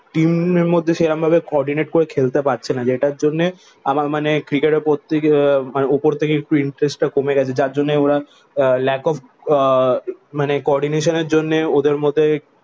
টিমের মধ্যে সেরকম ভাবে কোঅর্ডিনাতে করে খেলতে পারছে না। যেটার জন্যে আমার মানে ক্রিকেটের প্রতি আহ মানে উপর থেকে একটু ইন্টারেস্ট টা কমে গেছে। যার জন্য ওরা lack of আহ মানে কোঅর্ডিনেশনের জন্যে ওদের মধ্যে